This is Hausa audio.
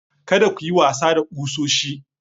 Kada ku yi wasa da kusoshi.